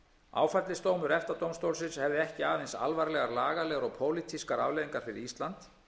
áfellisdómur efta dómstólsins hefði ekki aðeins alvarlegar lagalegar og pólitískar afleiðingar fyrir ísland